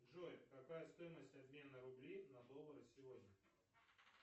джой какая стоимость обмена рублей на доллары сегодня